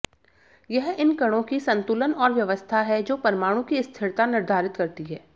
यह इन कणों की संतुलन और व्यवस्था है जो परमाणु की स्थिरता निर्धारित करती है